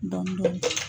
Dɔn